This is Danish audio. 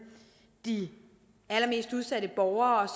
de allermest udsatte borgere